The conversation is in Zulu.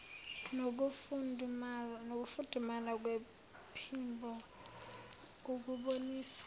nokufudumala kwephimbo ukubonisa